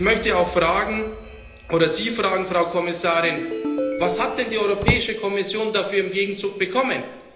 Und ich möchte Sie auch fragen, Frau Kommissarin Was hat denn die Europäische Kommission dafür im Gegenzug bekommen?